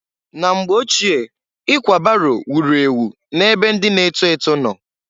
Na mgbe ochie, ikwa baro wuru ewu na-ebe ndị na-eto eto nọ.